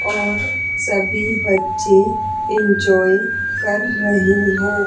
और सभी बच्चे एन्जॉई कर रहीं हैं।